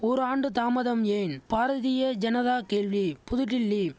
ஒரு ஆண்டு தாமதம் ஏன் பாரதிய ஜனதா கேள்வி புதுடில்லி